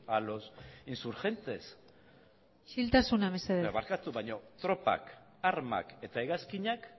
a los insurgentes isiltasuna mesedez barkatu baina tropak armak eta hegazkinak